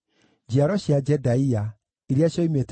na Baziluthu, na Mehida, na Harasha,